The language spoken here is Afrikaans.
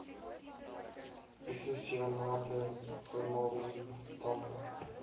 isosianate formaldehied dampe